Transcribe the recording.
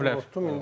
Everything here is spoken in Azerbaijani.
Olan bilər.